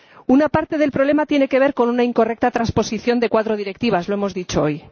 Una parte del problema tiene que ver con una incorrecta transposición de cuatro directivas —lo hemos dicho hoy—.